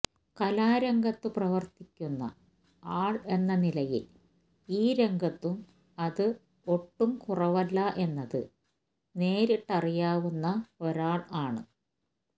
കലാരംഗത്തു പ്രവർത്തിക്കുന്ന ആൾ എന്ന നിലയിൽ ഈ രംഗത്തും അത് ഒട്ടും കുറവല്ല എന്നത് നേരിട്ട് അറിയാവുന്ന ഒരാൾ ആണ്